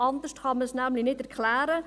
anders kann man dies nicht erklären.